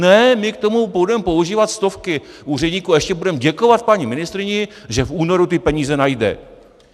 Ne, my k tomu budeme používat stovky úředníků a ještě budeme děkovat paní ministryni, že v únoru ty peníze najde.